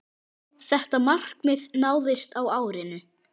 Þetta markmið náðist á árinu.